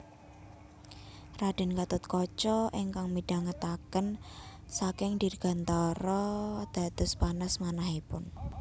Raden Gatotkaca ingkang midhangetaken saking dirgantara dados panas manahipun